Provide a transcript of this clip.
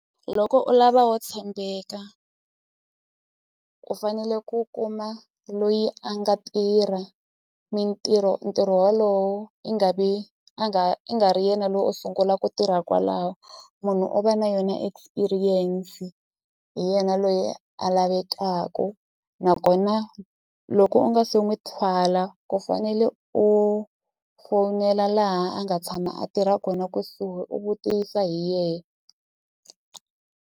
Loko u lava wo tshembeka u fanele ku kuma loyi a nga tirha mintirho ntirho walowo i nga ve a nga i nga ri yena lo o sungula ku tirha kwalaho munhu u va na yona experience hi yena loyi a lavekaku nakona loko u nga se nwi thwala ku fanele u fowunela laha a nga tshama a tirha kona kusuhi u vutisa hi .